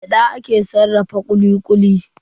Da gyada ake sarrafa kuli-kuli.